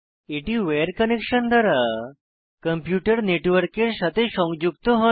এটি wire connection দ্বারা computer নেটওয়ার্কের সাথে সংযুক্ত হয়